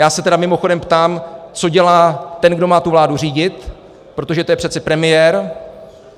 Já se tedy mimochodem ptám, co dělá ten, kdo má tu vládu řídit, protože to je přece premiér.